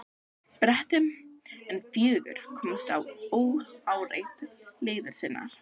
Bretum, en fjögur komust óáreitt leiðar sinnar.